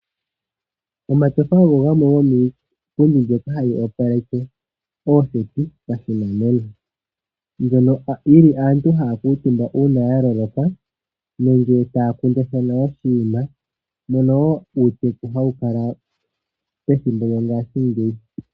Omatyofa ogo gamwe gomiipundi mbyoka hayi opaleke ooseti pashinanena. Hoka aantu haya kuutumba uuna ya loloka nenge taya kundathana oshinima mono wo uuteku hawu kala pethimbo lyo ngashingeyi.